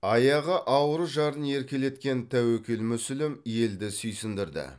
аяғы ауыр жарын еркелеткен тәуекел мүсілім елді сүйсіндірді